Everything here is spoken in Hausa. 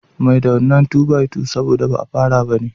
Mai da wannan 2 by 2 sabo da ba afara bane